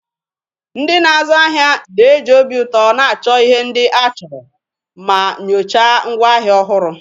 Ndị na-azu ahịa na-eji obi ụtọ na-achọ ihe ndị a chọrọ ma nyochaa ngwaahịa ọhụrụ.